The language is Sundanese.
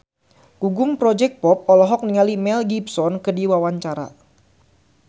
Gugum Project Pop olohok ningali Mel Gibson keur diwawancara